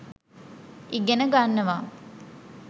ඉගෙන ගන්නවා